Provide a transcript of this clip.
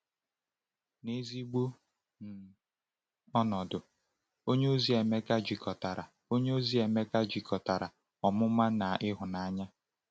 N’ezigbo um ọnọdụ, onyeozi Emeka jikọtara onyeozi Emeka jikọtara ọmụma na ịhụnanya.